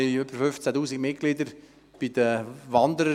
Der Verein weist rund 15 000 Mitglieder auf, davon viele Wanderer;